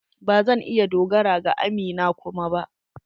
Ba zan iya dogara ga amina kuma ba.